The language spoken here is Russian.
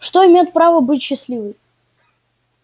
что имеет право быть счастливой